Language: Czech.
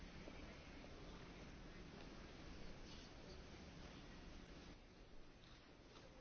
Velký ruský humanista a obránce lidských práv Sergej Kovaljov byl svého času navrhován